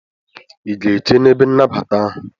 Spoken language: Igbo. I ga-eche n'ebe nnabata ahụ?